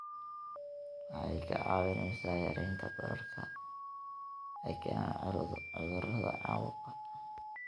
Waxay kaa caawinaysaa yaraynta bararka ay keenaan cudurrada caabuqa.